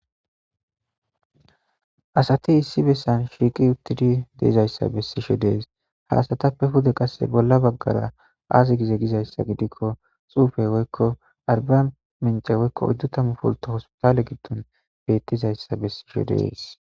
Asati esi besan sheqi utidi deza'yisa beshise de'es. Ha asatape kase bola bagara azi dize giko xufe woyiko Arbaminche woyiko hospitale oyidu tama pulito besishe de'es.